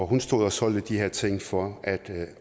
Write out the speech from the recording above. hun stod og solgte de her ting for at